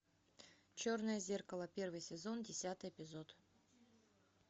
черное зеркало первый сезон десятый эпизод